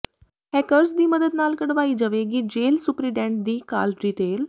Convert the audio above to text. hackers ਦੀ ਮਦਦ ਨਾਲ ਕਢਵਾਈ ਜਵੇਗੀ ਜੇਲ੍ਹ ਸੁਪਰਡੈਂਟ ਦੀ ਕਾਲ ਡਿਟੇਲ